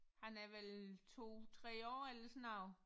Han er vel 2 3 år eller sådan noget